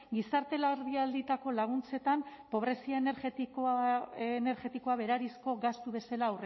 gizarte larrialdietarako laguntzetan pobrezia energetikoa berariazko gastu bezala